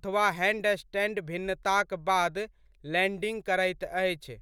अथवा हैंडस्टैंड भिन्नताक बाद लैंडिंग करैत अछि।